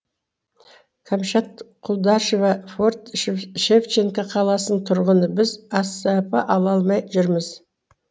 кәмшат құлдашева форт шевченко қаласының тұрғынымыз біз асп ала алмай жүрміз